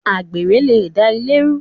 Àgbèrè le da ilé rú